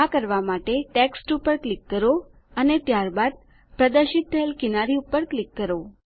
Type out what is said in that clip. આ કરવાં માટે ટેક્સ્ટ પર ક્લિક કરો અને ત્યારબાદ પ્રદર્શિત થયેલ કિનારી પર ક્લિક કરો